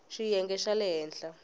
ya xiyenge xa le henhla